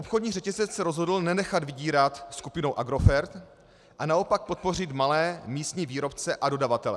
Obchodní řetězec se rozhodl nenechat vydírat skupinou Agrofert a naopak podpořit malé místní výrobce a dodavatele.